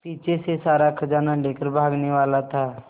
पीछे से सारा खजाना लेकर भागने वाला था